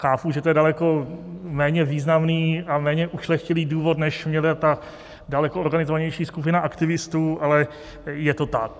Chápu, že to je daleko méně významný a méně ušlechtilý důvod, než měla ta daleko organizovanější skupina aktivistů, ale je to tak.